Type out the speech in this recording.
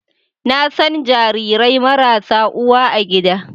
Na san jarirai marasa uwa a gida